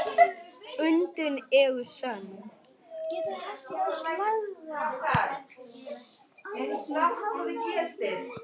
Undrin eru sönn.